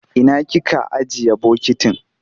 Ina kika ajiye bokitin?